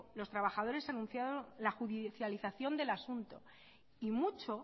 los trabajadores anunciaron la judicialización del asunto y mucho